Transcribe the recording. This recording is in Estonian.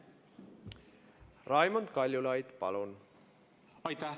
Raimond Kaljulaid, palun!